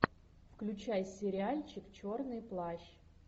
включай сериальчик черный плащ